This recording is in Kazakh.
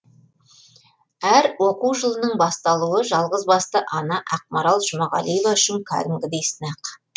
әр оқу жылының басталуы жалғызбасты ана ақмарал жұмағалиева үшін кәдімгідей сынақ